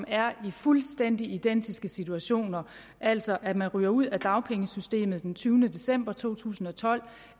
er i fuldstændig identiske situationer altså at man ryger ud af dagpengesystemet den tyvende december to tusind og tolv